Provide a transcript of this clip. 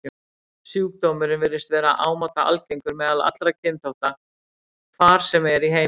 Sjúkdómurinn virðist vera ámóta algengur meðal allra kynþátta, hvar sem er í heiminum.